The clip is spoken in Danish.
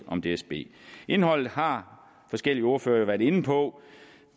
om dsb indholdet har forskellige ordførere har været inde på